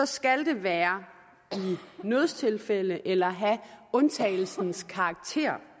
skal det være i nødstilfælde eller have undtagelsens karakter